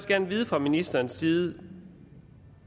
gerne vide fra ministerens side